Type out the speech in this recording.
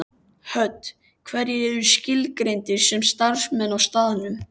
Hödd: Hverjir eru skilgreindir sem starfsmenn á staðnum?